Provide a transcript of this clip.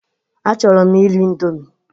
Achọrọ m iri ịndomi